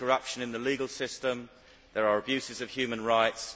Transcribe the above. there is corruption in the legal system there are abuses of human rights